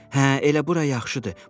Hə, elə bura yaxşıdır.